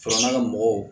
Fara ka mɔgɔw